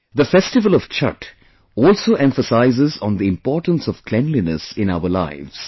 The festival of Chhath also emphasizes on the importance of cleanliness in our lives